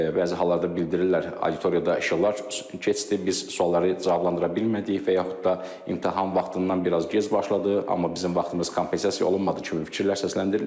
Bəzi hallarda bildirirlər auditoriyada işıqlar keçdi, biz sualları cavablandıra bilmədik və yaxud da imtahan vaxtından biraz gec başladı, amma bizim vaxtımız kompensasiya olunmadı kimi fikirlər səsləndirilir.